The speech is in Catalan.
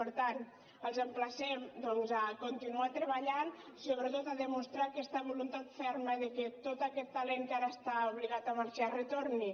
per tant els emplacem doncs a continuar treballant sobretot a demostrar aquesta voluntat ferma que tot aquest talent que ara està obligat a marxar retorni